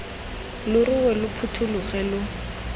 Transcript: lo rue lo phuthologe lo